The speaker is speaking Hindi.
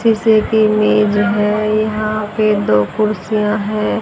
सीसे की मेज है यहां पे दो कुर्सियां हैं।